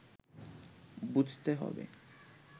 বুঝতে হবে